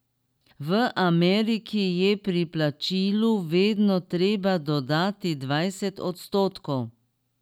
V Ameriki je pri plačilu vedno treba dodati dvajset odstotkov.